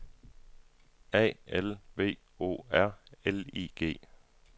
A L V O R L I G